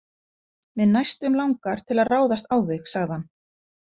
Mig næstum langar til að ráðast á þig, sagði hann.